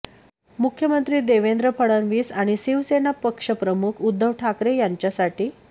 मुख्यमंत्री देवेंद्र फडणवीस आणि शिवसेना पक्षप्रमुख उद्धव ठाकरे यांच्यासाठी